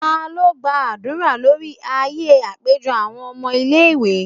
talo gba adura lori aaye apejọ awọn ọmọ ile-iwe?